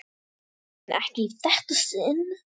En ekki í þetta sinn.